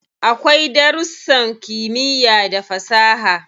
Akwai darussan kimiyya da fasaha.